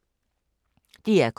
DR K